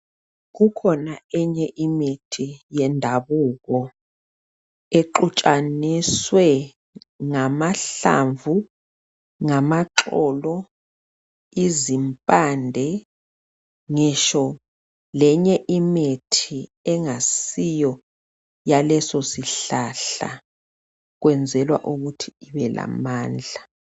kukhona enye imithi yendabuko exhutshaniswe ngamahlamvu ngamaxolo izimpande ngitsho lenye imithi engasiyo yalesosihlahla kwezenlwa ukuthi ibe lamandla